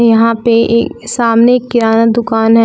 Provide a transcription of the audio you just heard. यहां पे एक सामने एक किराना दुकान है।